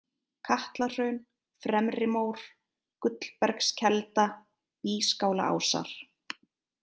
Katlahraun, Fremrimór, Gullbergskelda, Bískálaásar